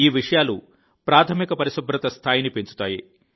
ఈ విషయాలు ప్రాథమిక పరిశుభ్రత స్థాయిని పెంచుతాయి